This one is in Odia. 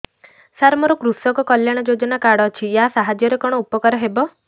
ସାର ମୋର କୃଷକ କଲ୍ୟାଣ ଯୋଜନା କାର୍ଡ ଅଛି ୟା ସାହାଯ୍ୟ ରେ କଣ ଉପକାର ହେବ